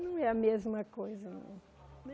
Não é a mesma coisa, não.